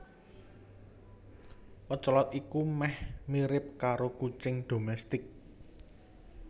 Ocelot iku meh mirip karo kucing dhomestik